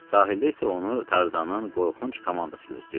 Sahildə isə onu Tarzanın qorxunc komandası gözləyirdi.